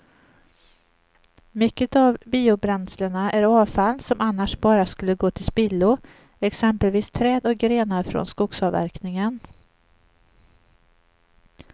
Mycket av biobränslena är avfall som annars bara skulle gå till spillo, exempelvis träd och grenar från skogsavverkningen.